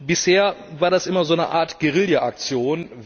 Bisher war das immer so eine Art Guerilla Aktion